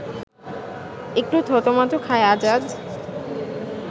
একটু থতমত খায় আজাদ